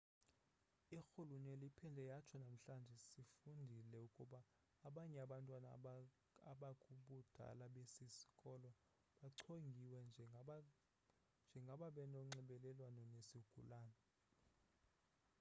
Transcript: irhuluneli iphinde yatsho namhlanje sifundile ukuba abanye abantwana abakubudala besi sikolo bachongiwe njengababenonxibelelwano nesigulana